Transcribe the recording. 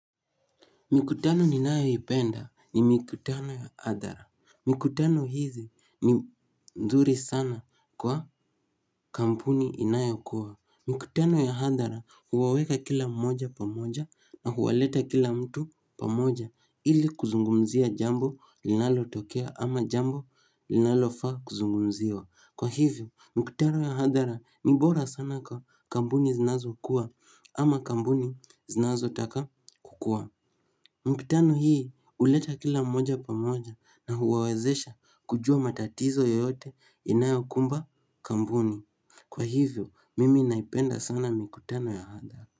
Mikutano ninayoipenda ni mikutano ya hadhara. Mikutano hizi ni mzuri sana kwa kampuni inayo kuwa. Mikutano ya hadhara huwaweka kila moja pamoja na huwaleta kila mtu pamoja ili kuzungumzia jambo linalotokea ama jambo linalofaa kuzungumziwa. Kwa hivyo, mikutano ya hadhara ni bora sana kwa kampuni zinazokuwa ama kampuni zinazo taka kukua. Mkutano hii huleta kila mmoja pamoja na huwawezesha kujua matatizo yoyote inayokumba kampuni. Kwa hivyo mimi naipenda sana mikutano ya hadhara.